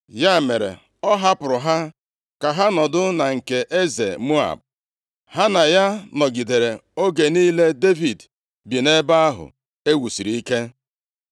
Ya mere, ọ hapụrụ ha ka ha nọdụ na nke eze Moab. Ha na ya nọgidere oge niile Devid bi nʼebe ahụ e wusiri ike.